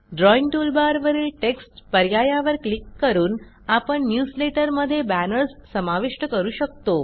drawing टूलबारवरील text पर्यायावर click करून आपण न्यूजलेटर मध्ये बॅनर्स समाविष्ट करू शकतो